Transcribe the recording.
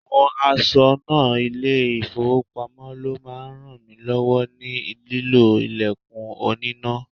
Àwọn aṣọnà ile-ifowopamo ló máa ń rànmilọ́wọ́ ní lílo ilẹ̀kùn oníná.